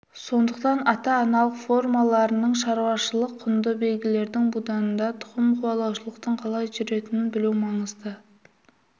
сондықтан ата-аналық формаларының шаруашылық құнды белгілердің буданында тұқым қуалаушылықтың қалай жүретінін білу маңызды